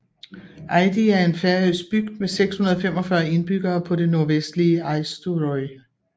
Eiði er en færøsk bygd med 645 indbyggere på det nordvestlige Eysturoy